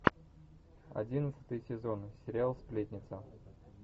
одиннадцатый сезон сериал сплетница